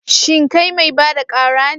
Shin kai mai ba da ƙara ne?